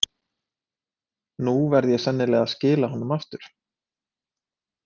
Nú verð ég sennilega að skila honum aftur.